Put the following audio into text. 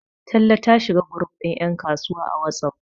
talle ta shiga group din yankasuwa a wasof